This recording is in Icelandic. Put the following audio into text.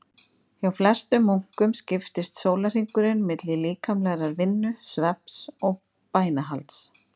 Hjá flestum munkum skiptist sólarhringurinn milli líkamlegrar vinnu, svefns og bænahalds.